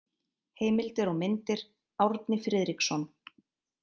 Heimildir og myndir: Árni Friðriksson.